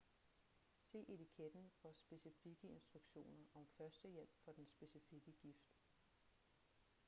se etiketten for specifikke instruktioner om førstehjælp for den specifikke gift